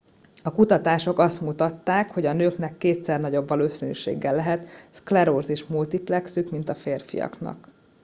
a kutatások azt mutatták hogy a nőknek kétszer nagyobb valószínűséggel lehet szklerózis multiplexük mint a férfiaknak